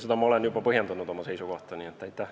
Ja ma olen oma seisukohta juba põhjendanud.